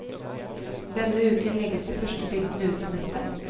Denne uken legges de første bildene ut på nettet.